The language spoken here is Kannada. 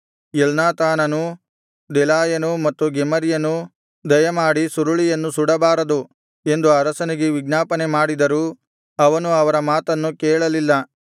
ಎಲ್ನಾಥಾನನೂ ದೆಲಾಯನೂ ಮತ್ತು ಗೆಮರ್ಯನೂ ದಯಮಾಡಿ ಸುರುಳಿಯನ್ನು ಸುಡಬಾರದು ಎಂದು ಅರಸನಿಗೆ ವಿಜ್ಞಾಪನೆಮಾಡಿದರೂ ಅವನು ಅವರ ಮಾತನ್ನು ಕೇಳಲಿಲ್ಲ